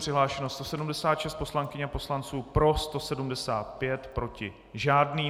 Přihlášeno 176 poslankyň a poslanců, pro 175, proti žádný.